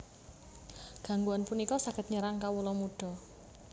Gangguan punika saged nyerang kawula muda